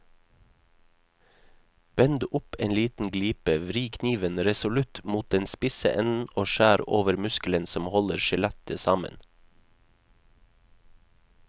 Bend opp en liten glipe, vri kniven resolutt mot den spisse enden og skjær over muskelen som holder skjellet sammen.